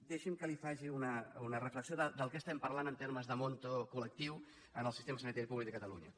deixi’m que li faci una reflexió de què estem parlant en termes d’import col·lectiu en el sistema sanitari públic de catalunya